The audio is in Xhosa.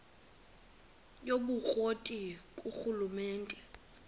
yobukro ti ngurhulumente